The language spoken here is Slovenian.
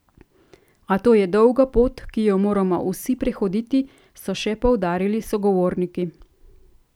A to je dolga pot, ki jo moramo vsi prehoditi, so še poudarili sogovorniki.